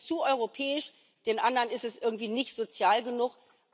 Den einen ist es zu europäisch, den anderen ist es irgendwie nicht sozial genug.